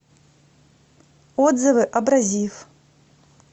отзывы абразив